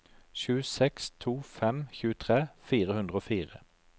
sju seks to fem tjuetre fire hundre og fire